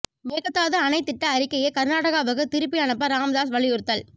மேகதாது அணை திட்ட அறிக்கையை கர்நாடகாவுக்கு திருப்பி அனுப்ப ராமதாஸ் வலியுறுத்தல்